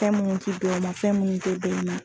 Fɛn minnu tɛ bɛn i ma fɛn minnu tɛ bɛn i ma.